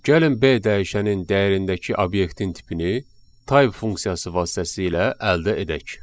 Gəlin B dəyişənin dəyərindəki obyektin tipini type funksiyası vasitəsilə əldə edək.